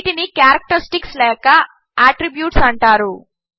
వీటిని క్యారక్టరిస్టిక్స్ లేక అట్రిబ్యూట్స్ అంటారు